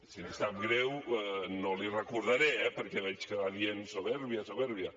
si li sap greu no l’hi recordaré eh perquè veig que va dient soberbia soberbia